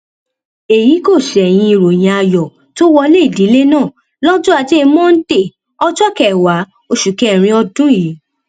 èyí kò ṣẹyìn ìròyìn ayọ tó wọlé ìdílé náà lọjọ ajé monde ọjọ kẹwàá oṣù kẹrin ọdún yìí